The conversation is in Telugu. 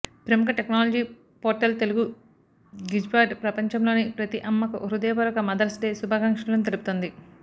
ప్రముఖ టెక్నాలజీ పోర్టల్ తెలుగు గిజ్బాట్ ప్రపంచంలోని ప్రతి అమ్మకు హృదయపూర్వక మదర్స్ డే శుభాకాంక్షలను తెలుపుతోంది